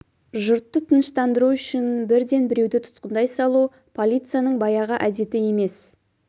жұртты тыныштандыру үшін бірден біруді тұтқындай салу полицияның баяғы әдеті емес